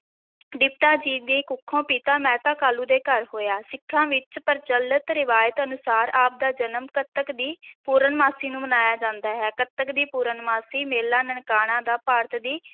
ਤ੍ਰਿਪਤਾ ਜੀ ਦੀ ਕੁੱਖੋਂ, ਪਿਤਾ ਮਹਿਤਾ ਕਾਲੂ ਦੇ ਘਰ ਹੋਇਆ, ਸਿੱਖਾਂ ਵਿੱਚ ਪ੍ਰਚਲਤ ਰਵਾਇਤ ਅਨੁਸਾਰ ਆਪ ਦਾ ਜਨਮ ਕੱਤਕ ਦੀ ਪੂਰਨਮਾਸ਼ੀ ਨੂੰ ਮਨਾਇਆ ਜਾਂਦਾ ਹੈ, ਕੱਤਕ ਦੀ ਪੂਰਨਮਾਸ਼ੀ, ਮੇਲਾ ਨਨਕਾਣਾ ਦਾ ਭਾਰਤ ਦੀ